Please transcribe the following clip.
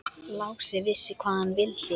Lási vissi hvað hann vildi.